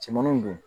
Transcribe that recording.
Cɛmannu don